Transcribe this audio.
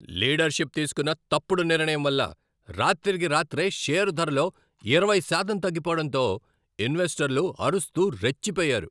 Leadership తీస్కున్న తప్పుడు నిర్ణయం వల్ల రాత్రికి రాత్రే షేర్ ధరలో ఇరవై శాతం తగ్గిపోవడంతో ఇన్వెస్టర్లు అరుస్తూ రెచ్చిపోయారు.